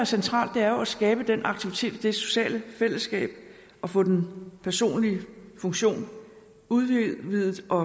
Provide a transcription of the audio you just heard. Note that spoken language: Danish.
centrale er jo at skabe den aktivitet og det sociale fællesskab og få den personlige funktion udvidet og